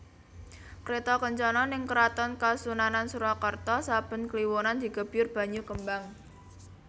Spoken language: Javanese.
Kreto kencono ning Keraton Kasunanan Surakarta saben kliwonan digebyur banyu kembang